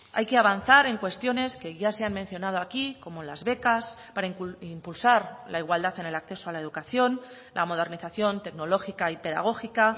hay que avanzar en cuestiones que ya se han mencionado aquí como las becas para impulsar la igualdad en el acceso a la educación la modernización tecnológica y pedagógica